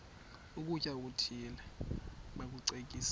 ukutya okuthile bakucekise